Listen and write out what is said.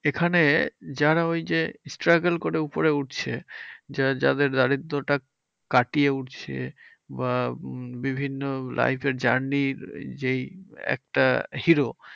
এখানে যারা ওই যে struggle করে উপরে উঠছে। যা~ যাদের দারিদ্রতা কাটিয়ে উঠছে বা বিভিন্ন life এর journey র যেই একটা hero.